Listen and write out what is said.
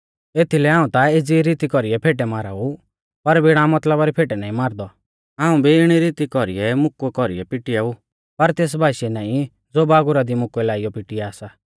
एथीलै हाऊं ता एज़ी ई रीती कौरीऐ फेटै मारा ऊ पर बिणा मतलबा री फेटै नाईं मारदौ हाऊं भी इणी रीती कौरीऐ मुकुऐ कौरीऐ पिटिआ ऊ पर तेस भाशीऐ नाईं ज़ो बागुरा दी मुकुऐ लाइयौ पिटिआ सा